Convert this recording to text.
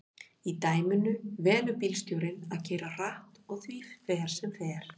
í dæminu velur bílstjórinn að keyra hratt og því fer sem fer